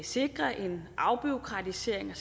sikre en afbureaukratisering